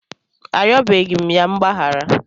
Arịọbeghị m ya mgbaghara.